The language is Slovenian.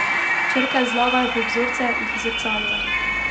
Črke zlagajo v vzorce, jih zrcalijo.